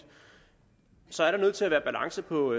så er der nødt til at være balance på